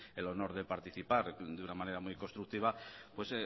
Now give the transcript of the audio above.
el honor de participar de una manera muy constructiva pues